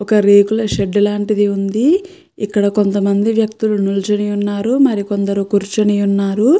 ఒక రేకుల షెడ్ లాంటిది వుంది ఇక్క్కడ కొంతమంది నిలుచొని వున్నారు మరి కొందరు కురుచొని వున్నారు.